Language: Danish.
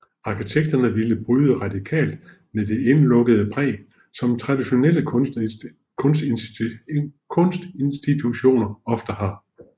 Arkitekterne ville bryde radikalt med det indelukkede præg som traditionelle kunstinstitutioner ofte har